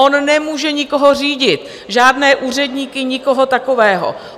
On nemůže nikoho řídit, žádné úředníky, nikoho takového.